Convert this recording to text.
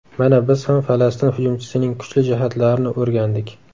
Mana biz ham Falastin hujumchisining kuchli jihatlarini o‘rgandik.